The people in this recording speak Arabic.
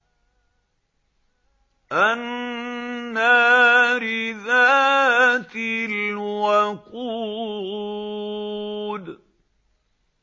النَّارِ ذَاتِ الْوَقُودِ